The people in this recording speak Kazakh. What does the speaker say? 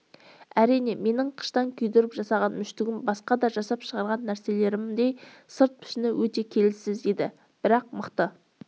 әрине менің қыштан күйдіріп жасаған мүштігім басқа да жасап шығарған нәрселерімдей сырт пішіні өте келіссіз еді бірақ мықты